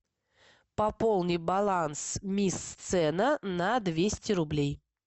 пополни баланс мисс сцена на двести рублей